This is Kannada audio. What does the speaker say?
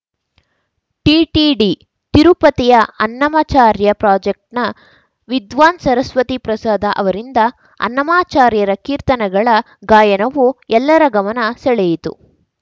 ಟಿಟಿಡಿ ತಿರುಪತಿಯ ಅನ್ನಮಚಾರ್ಯ ಪ್ರಾಜೆಕ್‌ನ ವಿದ್ವಾನ್‌ ಸರಸ್ವತಿಪ್ರಸಾದ ಅವರಿಂದ ಅನ್ನಮಾಚಾರ್ಯರ ಕೀರ್ತನಗಳ ಗಾಯನವು ಎಲ್ಲರ ಗಮನ ಸೆಳೆಯಿತು